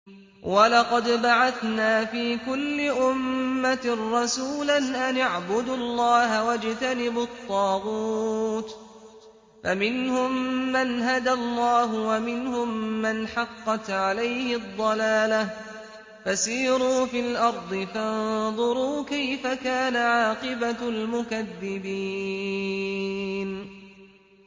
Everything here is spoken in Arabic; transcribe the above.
وَلَقَدْ بَعَثْنَا فِي كُلِّ أُمَّةٍ رَّسُولًا أَنِ اعْبُدُوا اللَّهَ وَاجْتَنِبُوا الطَّاغُوتَ ۖ فَمِنْهُم مَّنْ هَدَى اللَّهُ وَمِنْهُم مَّنْ حَقَّتْ عَلَيْهِ الضَّلَالَةُ ۚ فَسِيرُوا فِي الْأَرْضِ فَانظُرُوا كَيْفَ كَانَ عَاقِبَةُ الْمُكَذِّبِينَ